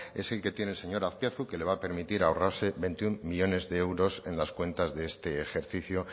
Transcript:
es el que tiene el señor azpiazu que le va a permitir ahorrarse veintiuno millónes de euros en las cuentas de este ejercicio